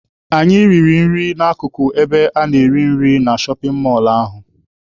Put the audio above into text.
Anyị riri nri na-akụkụ ebe a na-ere nri na shọpin mọlụ ahụ.